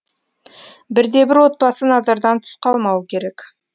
бірде бір отбасы назардан тыс қалмауы керек